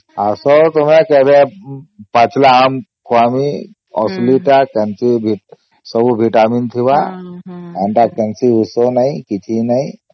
ଆସ ତୁମେ କେବେ ପାଚିଲା ଆମ ଖୁଆଇମି ଅସଲି ତ କେମିତି ସବୁ vitamin ଥିବା ଏନ୍ତା କେମିତି ଉସ ନାହିଁ କିଛି ନାହିଁ